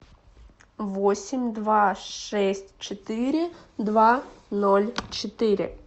восемь два шесть четыре два ноль четыре